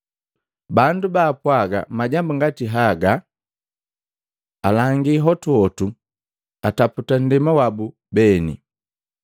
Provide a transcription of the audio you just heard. Bandu ba apwaga majambu ngati haga, alangi hotuhotu ataputa nndema wabu beni.